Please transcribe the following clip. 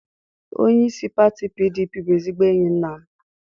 Onyeisi pati PDP bụ ezigbo enyi nna m.